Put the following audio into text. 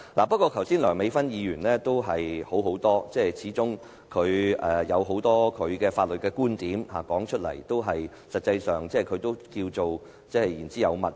不過，梁美芬議員剛才的發言卻較佳，始終她提出了很多她的法律觀點，不論我們是否認同，事實上她也是言之有物。